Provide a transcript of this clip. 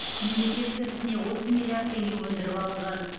мемлекет кірісіне отыз миллиард теңге өндіріп алынған